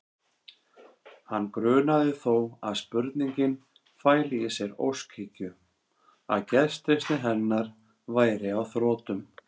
Hann grunaði þó að spurningin fæli í sér óskhyggju, að gestrisni hennar væri á þrotum.